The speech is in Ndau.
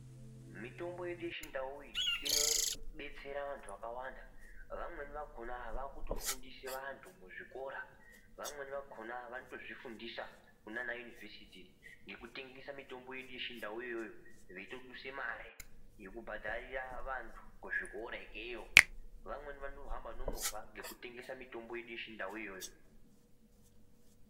Mitombo yedu yechindau iyi, inodetsera vantu vakawanda. Vamweni vakhona vakutofundise vantu muzvikora, vamweni vakhona vanotozvifundisa kunanayunivesithi nekutengesa mitombo yedu yechindau yoyo, veyitoduse mare, yokubhadharira vantu kuzvikora yekeyo. Vamweni vanohamba nomova ngekutengesa mitombo yedu yechindau yoyo.